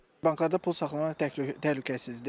Banklarda pul saxlamaq təhlükəsizdir.